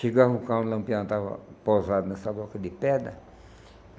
Chegava um carro, o Lampião estava posado nessa boca de pedra.